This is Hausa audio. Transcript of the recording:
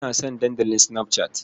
Ina son Dandalin Snapchat.